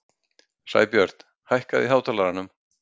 Sæbjört, hækkaðu í hátalaranum.